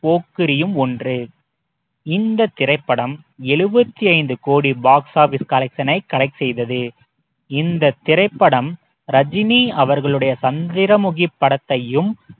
போக்கிரியும் ஒன்று திரைப்படம் எழுபத்தி ஐந்து கோடி box office collection ஐ collect செய்தது இந்தத் திரைப்படம் ரஜினி அவர்களுடைய சந்திரமுகி படத்தையும்